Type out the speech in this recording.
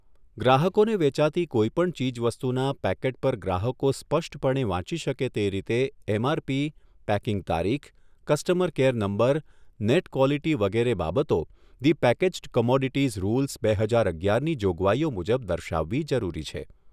ગ્રાહકોને વેચાતી કોઈપણ ચીજવસ્તુના પેકેટ પર ગ્રાહકો સ્પષ્ટપણે વાંચી શકે તે રીતે એમઆરપી, પેકીંગ તારીખ, customer care number, net quality વગેરે બાબતો ધી પેકેઝ્ડ કોમોડીટીઝ રૂલ્સ, બે હજાર અગિયારની જોગવાઈઓ મુજબ દર્શાવવી જરૂરી છે.